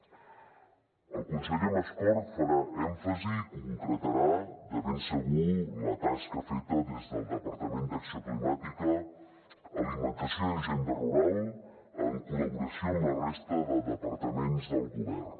el conseller mascort farà èmfasi i concretarà de ben segur la tasca feta des del departament d’acció climàtica alimentació i agenda rural en col·laboració amb la resta de departaments del govern